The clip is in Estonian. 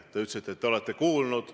Te ütlesite, et olete üht asja kuulnud.